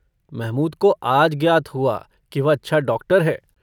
महमूद को आज ज्ञात हुआ कि वह अच्छा डाक्टर है।